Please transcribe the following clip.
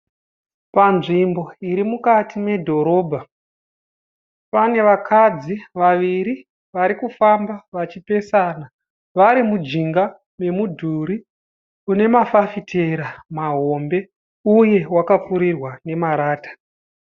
Panzvimbo iri mukati medhorobha. Pane vakadzi vaviri varikufamba vachipesana vari mujinga memudhuri une mafitera mahombe uye wakapfurirwa nemarata.